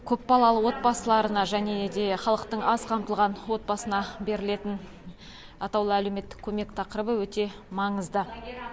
көпбалалы отбасыларына және де халықтың аз қамтылған отбасына берілетін атаулы әлеуметтік көмек тақырыбы өте маңызды